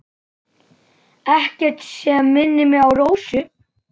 Ekkert sem minnir á Rósu.